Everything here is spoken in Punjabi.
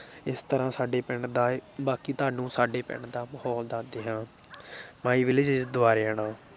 ਇਸ ਤਰ੍ਹਾਂ ਸਾਡੇ ਪਿੰਡ ਦਾ ਬਾਕੀ ਤੁਹਾਨੂੰ ਸਾਡੇ ਪਿੰਡ ਦਾ ਮਾਹੌਲ ਦੱਸਦੇ ਹਾਂ my village is ਦੁਬਾਰੇਆਣਾ